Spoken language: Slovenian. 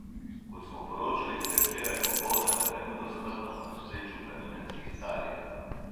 Kot smo poročali, se je včeraj popoldne na Kaninu smrtno ponesrečil planinec iz Italije.